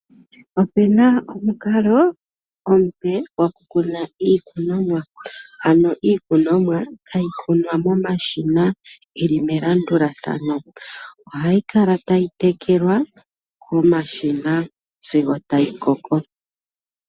Ope na omukalo omupe gokukuna iikunomwa, ano iikunomwa hayi kunwa momashina yi li melandulathano. Ohayi kala tayi tekelwa komashina sigo tayi koko.